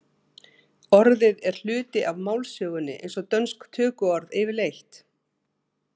Orðið er hluti af málsögunni eins og dönsk tökuorð yfirleitt.